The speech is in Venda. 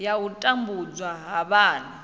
ya u tambudzwa ha vhana